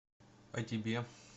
а тебе